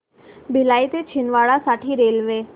भिलाई ते छिंदवाडा साठी रेल्वे